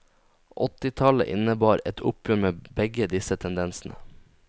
Åttitallet innebar et oppgjør med begge disse tendensene.